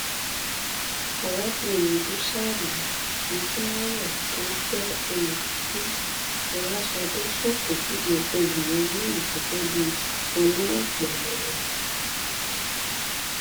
arábìnrin busari motunrayọ tó jẹ olùkọ fún fọlásadé ṣàpèjúwe obìnrin náà gẹgẹ bíi oníwàpele